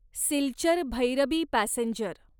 Silchar Bhairabi passenger